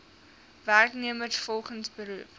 werknemers volgens beroep